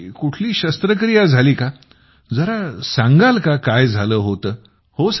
तुमची कुठली शस्त्रक्रिया झाली का जरा सांगाल का काय झालं होतं